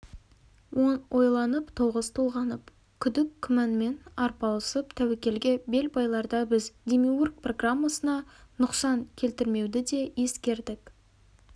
он ойланып тоғыз толғанып күдік күмәнмен арпалысып тәуекелге бел байларда біз демиург программасына нұқсан келтірмеуді де ескердік